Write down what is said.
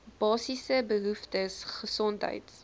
basiese behoeftes gesondheids